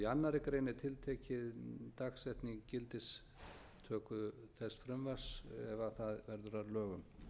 í annarri grein er tiltekin dagsetning gildistöku þess frumvarps ef það verður að lögum